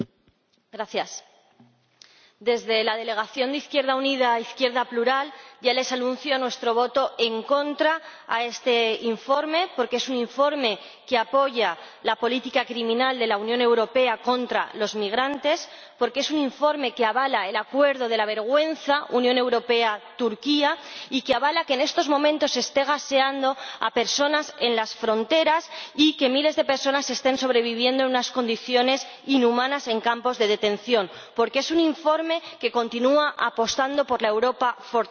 Señor Presidente, desde la delegación de Izquierda Unida Izquierda Plural ya les anuncio nuestro voto en contra de este informe, porque es un informe que apoya la política criminal de la Unión Europea contra los migrantes, porque es un informe que avala el acuerdo de la vergüenza —Unión Europea Turquía— y que, en estos momentos, se esté gaseando a personas en las fronteras y que miles de personas estén sobreviviendo en unas condiciones inhumanas en campos de detención, porque es un informe que continúa apostando por la Europa fortaleza.